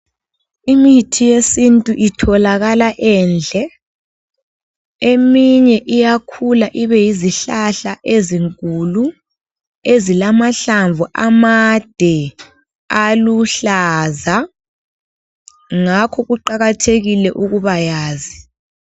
Imithi yesintu itholakala endle. Eminye iyakhula, ibeyizihlahla ezinkulu, ezilamahlamvu amade, aluhlaza. Ngakho kuqakathekile ukubayazi.